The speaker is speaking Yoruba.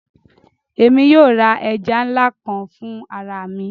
Émi yóò ra ẹja nla kan fun ara mi